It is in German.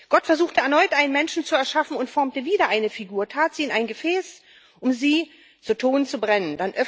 Gott versuchte erneut, einen Menschen zu erschaffen, und formte wieder eine Figur und tat sie in ein Gefäß, um sie zu Ton zu brennen.